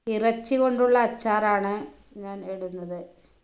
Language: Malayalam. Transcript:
ഇറച്ചി കൊണ്ടുള്ള അച്ചാറാണ് ഞാൻ ഇടുന്നത്